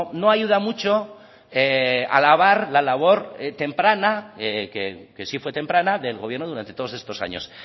no ayuda mucho alabar la labor temprana que sí fue temprana del gobierno durante todos estos años